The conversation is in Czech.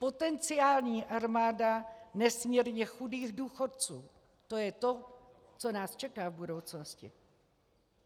Potenciální armáda nesmírně chudých důchodců, to je to, co nás čeká v budoucnosti.